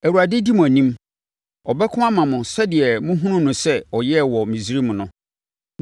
Awurade di mo anim. Ɔbɛko ama mo sɛdeɛ mohunuu no sɛ ɔyɛɛ wɔ Misraim no.